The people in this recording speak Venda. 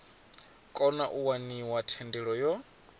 kona u waniwa thendelo yo